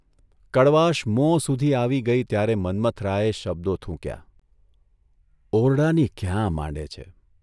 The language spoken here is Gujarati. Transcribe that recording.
' કડવાશ મોં સુધી આવી ગઇ ત્યારે મન્મથરાયે શબ્દો થૂંક્યાઃ ' ઓરડાની ક્યાં માંડે છે?